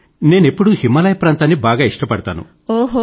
నేను ఎప్పుడూ హిమాలయ ప్రాంతాన్ని బాగా ఇష్టపడతాను